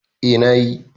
Eh, na yi.